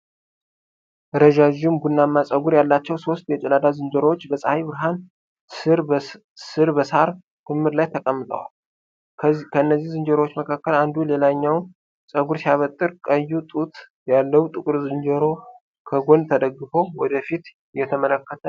ረዣዥም ቡናማ ፀጉር ያላቸው ሦስት የጭላዳ ዝንጀሮዎች በፀሐይ ብርሃን ስር በሳር ክምር ላይ ተቀምጠዋል። ከእነዚህ ዝንጀሮዎች መካከል አንዱ ሌላኛውን ፀጉር ሲያበጥር፤ ቀይ ጡት ያለው ትልቁ ዝንጀሮው ከጎን ተደግፎ ወደ ፊት እየተመለከተ ነው።